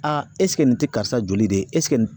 nin te karisa joli de ye nin